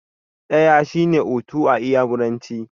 Ɗaya shine 'Otu' a iyamuranci.